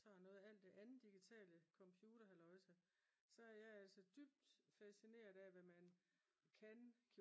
tager noget af alt det andet digitale computerhalløjsa så er jeg altså dybt fascineret af hvad man kan